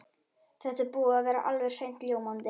Þetta er búið að vera alveg hreint ljómandi.